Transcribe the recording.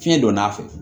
Fiɲɛ donna a fɛ